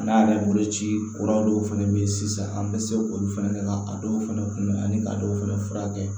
N'a yɛrɛ bolo ci kura dɔw fɛnɛ be yen sisan an be se k'olu fɛnɛ kɛ ka a dɔw fɛnɛ kunbɛn yan ka dɔw fɛnɛ furakɛ